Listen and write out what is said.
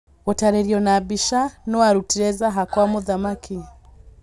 Gũtarĩrio na mbica, nũũ warutire Zaha kwa mũthamaki?